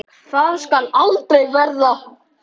Það skal aldrei verða!